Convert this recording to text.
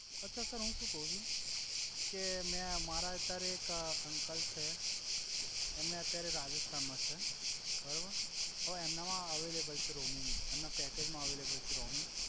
અછા સર હુ સુ કવ છુ કે મે મારા અત્યારે એક અંકલ છે એમણે અત્યારે રાજસ્થાન મા છે બરોબર હવે એમના મા અવઈલેબલ છે રોમિંગ એમ